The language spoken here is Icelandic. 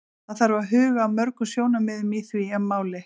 Það þarf að huga að mörgum sjónarmiðum í því máli.